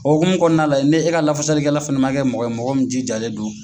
O hokumu kɔnɔna na la ne e ka lafasali kɛla fana man kɛ mɔgɔ ye mɔgɔ min jijalen do